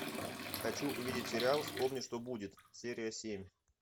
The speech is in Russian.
хочу увидеть сериал вспомни что будет серия семь